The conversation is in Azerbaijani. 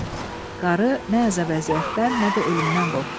Qarı nə əzab-əziyyətdən, nə də ölümdən qorxdu.